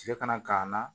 Cɛ kana k'an na